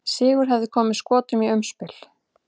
Sigur hefði komið Skotum í umspil.